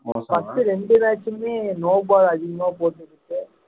first ரெண்டு match மே no ball அதிகமா போட்டு இருக்கு